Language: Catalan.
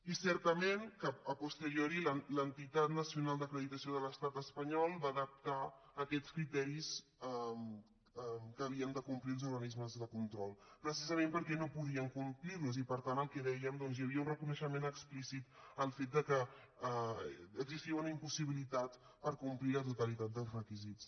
i certament a posterioril’entitat nacional d’acreditació de l’estat espanyol va adaptar aquests criteris que havien de complir els organismes de control precisament perquè no podien complir los i per tant el que dèiem hi havia un reconeixement explícit al fet que existia una impossibilitat per complir la totalitat dels requisits